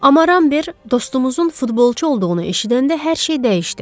Amma Rambert dostumuzun futbolçu olduğunu eşidəndə hər şey dəyişdi.